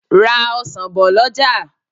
Ra ọsan bò lọjà.